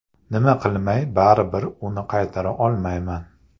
Nima qilmay, baribir uni qaytara olmayman.